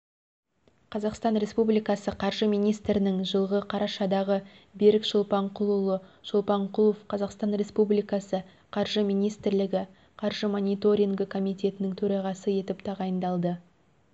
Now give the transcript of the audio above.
қазақстан республикасы қаржы министрінің жылғы қарашадағы берік шолпанқұлұлы шолпанқұлов қазақстан республикасы қаржы министрлігі қаржы мониторингі комитетінің төрағасы етіп тағайындалды